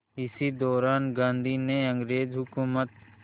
इसी दौरान गांधी ने अंग्रेज़ हुकूमत